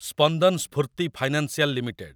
Spandana Sphoorty financial limited